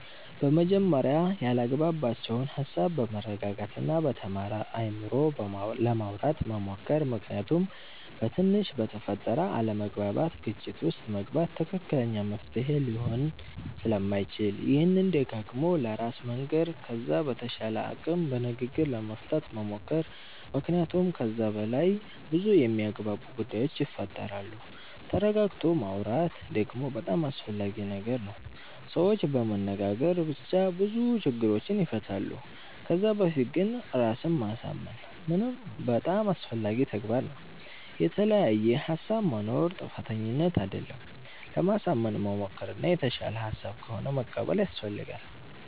በመጀመርያ ያላግባባቸዉን ሃሳብ በመረጋጋት እና በተማረ አይምሮ ለማዉራት መሞከር ምክንያቱም በትንሽ በተፈጠረ አለመግባባት ግጭት ዉስጥ መግባት ትክክለኛ መፍትሄ ሊሆን ስለማይችል ይሄንን ደጋግሞ ለራስ መንገር ከዛ በተቻለ አቅም በንግግር ለመፍታት መሞከር መክንያቱመ ከዛ በላይ በዙ የሚያግባቡ ጉዳዮች ይፈጠራሉ ተረጋግቶ ማወራት ደግሞ በጣም አስፈላጊ ነገር ነዉ ሰዎች በመነጋገር ብቻ ብዙ ችግሮችን ይፈታሉ ከዛ በፊት ግን ራስን ማሳምን በጣም አስፈላጊ ተግባር ነዉ። የተለያየ ሃሳብ መኖር ጥፋተኝነት አደለም ለማሳመን መሞከር እና የተሻለ ሃሳብ ከሆነ መቀበል ያሰፈልጋል